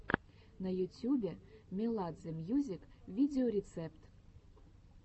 на ютюбе меладзе мьюзик видеорецепт